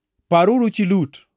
Paruru chi Lut!